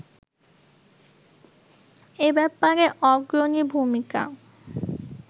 এ ব্যাপারে অগ্রণী ভূমিকা